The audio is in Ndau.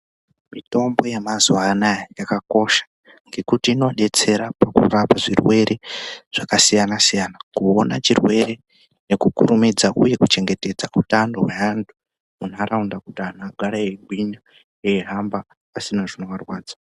Mitombo yamazuva anaya yakakosha ngekuti inodetsere pakurapa zvirwere zvakasiyana-siyana. Kuona chirwere nekukurumidza uye kuchengetedza utano hweantu munharaunda kuti antu agare aigwinya eihamba asina chinovarwadza.